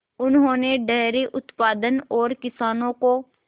उन्होंने डेयरी उत्पादन और किसानों को